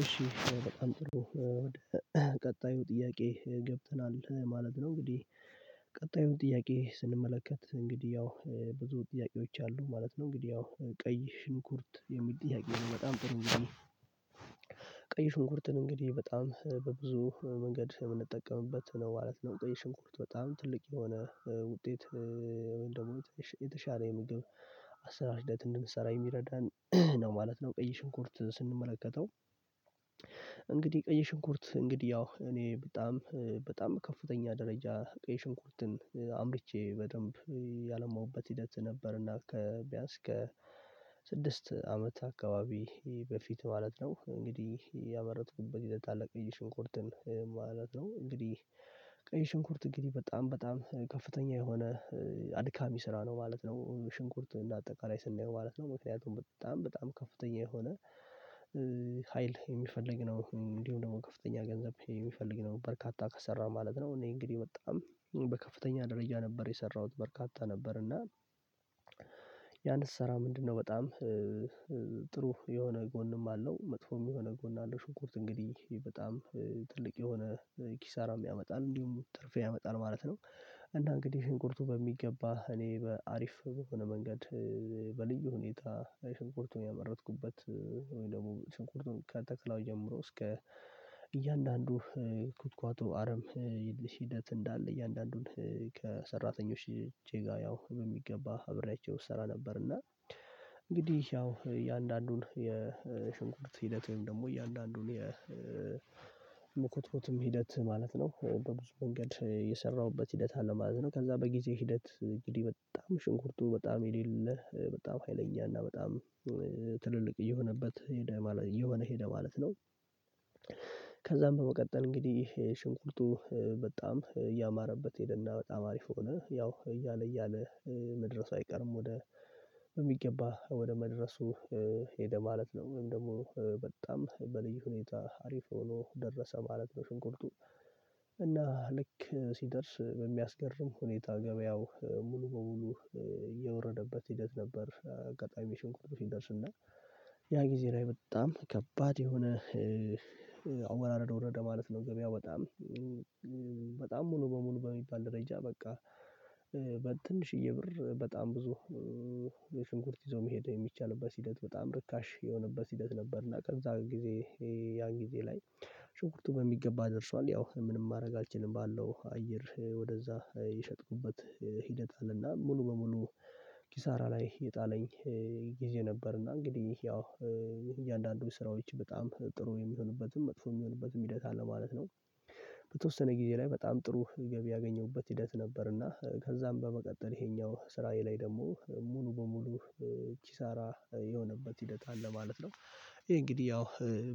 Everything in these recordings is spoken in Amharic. እሺ በጣም ጥሩ ወደ ቀጣዩ ጥያቄ ገብተናል ማለት ነው። እንግዲህ ቀጣዩን ጥያቄ ስንመለከት እንግዲህ ያው ብዙ ጥያቄዎች አሉ ማለት ነው። እንግዲህ ያው ቀይ ሽንኩርት የሚል ጥያቄ ነው በጣም ጥሩ። ቀይ ሽንኩርትን እንግዲህ በጣም በብዙ መንገድ የምንጠቀምበት ነው ማለት ነው ቀይ ሽንኩርት በጣም ትልቅ የሆነ ውጤት ወይም ደግሞ የተሻለ ምግብ አሰራር ህደትን እንድንሰራ የሚረዳን ነው ማለት ነው። ቀይ ሽንኩርት ስንመለከተው እንግዲህ ቀይ ሽንኩርት እንግዲህ ያው እኔ በጣም በጣም ከፍተኛ ደረጃ ቀይ ሽንኩርትን አምርቼ በደንብ ያለማሁበት ሂደት ነበርና ከቢያንስ ከ ስድስት አመት አካባቢ በፊት ማለት ነው። እንግዲህ ያመረትኩበት ህደት አለ ቀይ ሽንኩርትን ማለት ነው እንግዲህ ቀይ ሽንኩርት እንግዲህ በጣም በጣም ከፍተኛ የሆነ አድካሚ ስራ ነው ማለት ነው። ሽንኩርት እንደ አጠቃላይ ስናየው ማለት ነው ምክንያቱም በጣም በጣም ከፍተኛ የሆነ ሀይል የሚፈልግ ነው እንዲሁ ደግሞ ከፍተኛ ገንዘብ የሚፈልግ ነው። በርካታ ከሰራን ማለት ነው እኔ እንግዲህ በጣም በከፍተኛ ደረጃ ነበር የሰራሁት በርካታ ነበር እና። ያን ስሰራ ምንድነው በጣም ጥሩ የሆነ ጎንም አለው መጥፎም የሆነ ጎን አለው ሽንኩርት እንግዲህ በጣም ትልቅ የሆነ ኪሳራም ያመጣል እንዲሁም ትርፍ ያመጣል ማለት ነው። እና እንግዲህ ሽንቁርቱ በሚገባ እኔ በአሪፍ የሆነ መንገድ በልዩ ሁኔታ ሽንኩርቱን ያመረትኩበት ወይ ደግሞ ሽንኩርቱን ከተከላው ጀምሮ እስከ እያንዳንዱ ኩትኳቱ አረም ሂደት እንዳለ እያንዳንዱን ከሰራተኞች ጄጋ ያው በሚገባ አብሬያቸው እሰራ ነበር። እና እንግዲህ ያው እያንዳንዱን የሽንኩርት ሂደት ወይም ደግሞ እያንዳንዱን የመኮትኮት ሂደት ማለት ነው በብዙ መንገድ የሰራሁበት ሂደት አለማዘን ከዛ በጊዜ ሂደት እንግዲህ በጣም ሽንኩርቱ በጣም የሌለ በጣም ሀይለኛ እና በጣም ትልልቅ የሆነበት ሄደ ማለት የሆነ ሄደ ማለት ነው። ከዛም በመቀጠል እንግዲህ ሽንኩርቱ በጣም እያማረበት ሄደና በጣም አሪፍ ሆነ ያው እያለ እያለ መድረሱ አይቀርም ወደ በሚገባ ወደ መድረሱ ሄደ ማለት ነው ወይም ደግሞ በጣም በልዩ ሁኔታ አሪፍ ሆኖ ደረሰ ማለት ነው። ሽንኩርቱ እና ልክ ሲደርስ በሚያስገርም ሁኔታ ገበያው ሙሉ በሙሉ የወረደበት ሂደት ነበር። ቀጣይም ሽንኩርቱ ሲደርስ እና ያ ጊዜ ላይ በጣም ከባድ የሆነ አወራረድ ወረደ ማለት ነው። ገበያው በጣም በጣም ሙሉ በሙሉ በሚባል ደረጃ በቃ በትንሽዬ ብር በጣም ብዙ የሽንኩርት ይዞ መሄድ የሚቻልበት ሂደት በጣም ርካሽ የሆነበት ሂደት ነበር። እና ከዛ ጊዜ ያን ጊዜ ላይ ሽንኩርቱ በሚገባ ደርሷል ያው ምንም ማድረግ አልችልም ባለው አየር ወደዛ የሸጥኩበት ሂደት አለና ሙሉ በሙሉ ኪሳራ ላይ የጣለኝ ጊዜ ነበርና እንግዲህ ያው እያንዳንዱ ስራዎች በጣም ጥሩ የሚሆንበትም መጥፎ የሚሆንበትም ሂደት አለ ማለት ነው። በተወሰነ ጊዜ ላይ በጣም ጥሩ ገቢ ያገኘሁበት ሂደት ነበርና ከዛም በመቀጠል ይሄኛው ስራዬ ላይ ደግሞ ሙሉ በሙሉ ኪሳራ የሆነበት ሂደት አለ ማለት ነው። ይሄ እንግዲህ ያው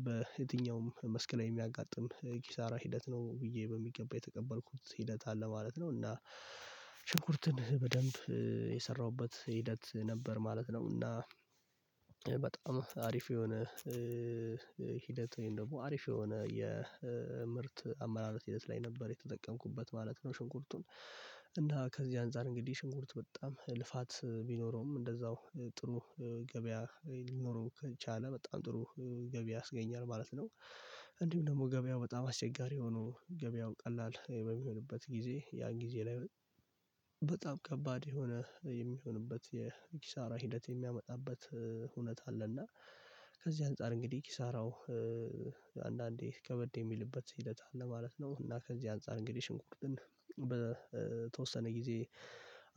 በየትኛውም መስክ ላይ የሚያጋጥም ኪሳራ ሂደት ነው ብዬ በሚገባ የተቀበልኩት ሂደት አለ ማለት ነው እና ሽንኩርትን በደንብ የሰራሁበት ሂደት ነበር ማለት ነው። እና በጣም አሪፍ የሆነ ሂደት ወይም ደግሞ አሪፍ የሆነ የምርት አመራረት ሂደት ላይ ነበር የተጠቀምኩበት ማለት ነው። ሽንኩርቱን እና ከዚህ አንፃር እንግዲህ ሽንኩርት በጣም ልፋት ቢኖረውም እንደዛው ጥሩ ገበያ ሊኖረው ከቻለ በጣም ጥሩ ገበያ ያስገኛል ማለት ነው። እንዲሁም ደግሞ ገበያው በጣም አስቸጋሪ የሆኑ ገበያው ቀላል በሚሆንበት ጊዜ ያ ጊዜ ላይ በጣም ከባድ የሆነ የሚሆንበት የኪሳራ ሂደት የሚያመጣበት ሁኔታ አለና ከዚህ አንፃር እንግዲህ ኪሳራው ከበድ የሚልበት ሂደት አለ ማለት ነው። እና ከዚህ አንፃር እንግዲህ ሽንኩርትን በተወሰነ ጊዜ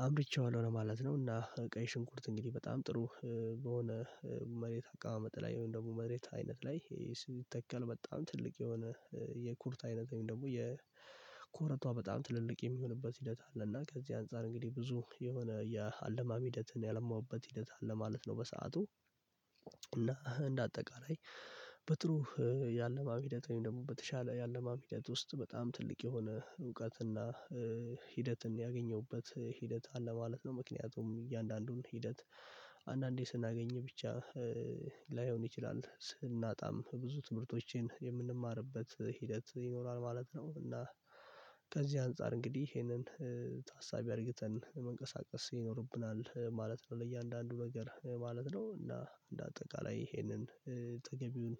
አምርቼዋለሁ ለማለት ነው። እና ቀይ ሽንኩርት እንግዲህ በጣም ጥሩ በሆነ አቀማመጥ ላይ ወይም ደግሞ መሬት አይነት ላይ ስንተከል በጣም ትልቅ የሆነ የኩርት አይነት ወይም ደግሞ የኮረቷ በጣም ትልልቅ የሚሆንበት ሂደት አለ እና ከዚህ አንፃር እንግዲህ ብዙ የሆነ የአለማሚ ሂደትን ያለማውበት ህደት አለ ማለት ነው። በሰአቱ እና እንደ አጠቃላይ በጥሩ ያለማም ሂደት ወይም ደግሞ በተሻለ ያለማም ሂደት ውስጥ በጣም ትልቅ የሆነ እውቀትና ሂደትን ያገኘሁበት ሂደት አለ ማለት ነው። ምክንያቱም እያንዳንዱን ሂደት አንዳንዴ ስናገኝ ብቻ ላይሆን ይችላል ስናጣም ብዙ ትምህርቶችን የምንማርበት ሂደት ይኖራል ማለት ነው። እና ከዚህ አንፃር እንግዲህ ይሄንን ታሳቢ አድርገን መንቀሳቀስ ይኖርብናል ማለት ነው። ለእያንዳንዱ ነገር ማለት ነው እና እንደ አጠቃላይ ይሄንን ተገቢውን